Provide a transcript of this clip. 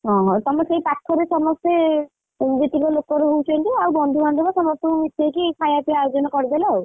ଓହୋ ତମର ସେଇ ପାଖରେ ସମସ୍ତେ ଜେତିକି ଲୋକ ରହୁଛନ୍ତି ଆଉ ବନ୍ଧୁବାନ୍ଧବ ସମସ୍ତଙ୍କୁ ମିଶେଇକି ଖାୟାପିଆ ଆୟୋଜନ କରିଦେଲ ଆଉ?